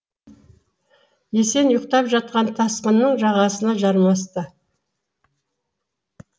есен ұйықтап жатқан тасқынның жағасына жармасты